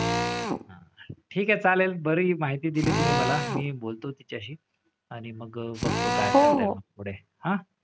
ठीक आहे. चालेल. बरी माहिती दिली तुम्ही मला. मी बोलतो तिच्याशी. आणि मग बघतो काय करता येईल मग पुढे. हां?